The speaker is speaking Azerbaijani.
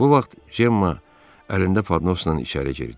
Bu vaxt Cemma əlində padnosla içəri girdi.